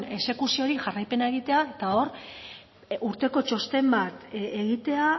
exekuziori jarraipena egitea eta hor urteko txosten bat egitea